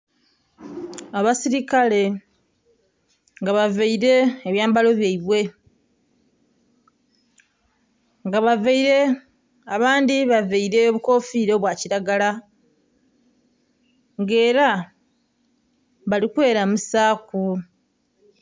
Abasilikale nga bavaile ebyambalo byaibwe, nga bavaile, abandhi bavaile obukofiira obwa kilagala nga ela bali kwelamusaaku.